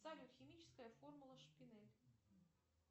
салют химическая формула шпинель